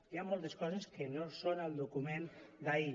hi ha moltes coses que no són al document d’ahir